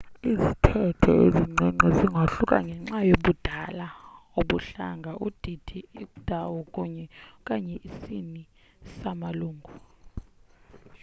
izithethe ezincinci zingahluka ngenxa yobudala ubuhlanga udidi indawo kunye / okanye isini samalungu